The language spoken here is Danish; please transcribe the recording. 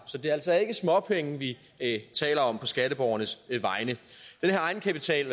så det er altså ikke småpenge vi taler om på skatteborgernes vegne den her egenkapital